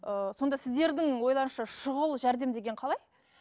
ыыы сонда сіздердің ойларыңызша шұғыл жәрдем деген қалай